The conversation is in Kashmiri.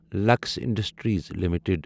Lux industries limited